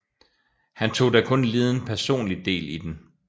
Han tog da kun liden personlig del i den